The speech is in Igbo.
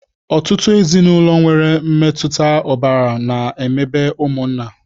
Ọtụtụ ezinaụlọ nwere mmetụta ọbara na-emebe ụmụnna